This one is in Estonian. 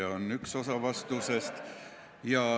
See on üks osa vastusest.